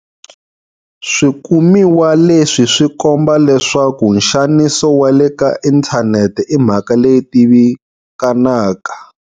Swikumiwa leswi swi komba leswaku nxaniso wa le ka inthanete i mhaka leyi tivikanaka.